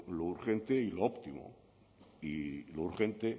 lo urgente y lo óptimo y lo urgente